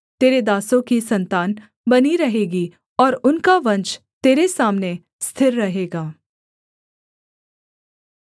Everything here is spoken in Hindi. तेरे दासों की सन्तान बनी रहेगी और उनका वंश तेरे सामने स्थिर रहेगा